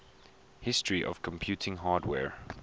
history of computing hardware